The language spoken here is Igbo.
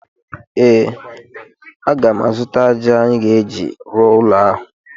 Ee, aga m azụta ájá anyị ga-eji rụọ ụlọ ahụ.